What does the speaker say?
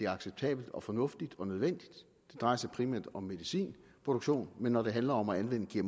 acceptabelt og fornuftigt og nødvendigt det drejer sig primært om medicinproduktion men når det handler om at anvende